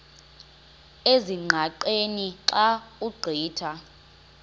ezingqaqeni xa ugqitha